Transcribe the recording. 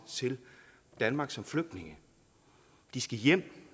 til danmark som flygtninge de skal hjem